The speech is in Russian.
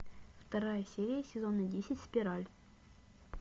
вторая серия сезона десять спираль